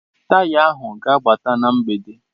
Taya ahu ga-abata na mgbede.